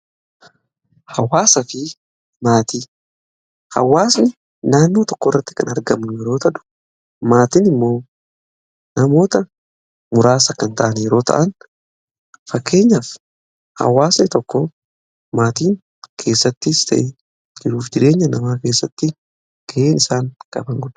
hawwaasni naannoo tokko irratti kan argamu yeroo ta'u maatiin immoo namoota muraasa kan ta'an yeroo ta'an fakkeenyaaf hawaasni tokko maatiin keessattis ta'e jiruuf jireenya namaa keessatti ga'een isaan qaban guddaadha.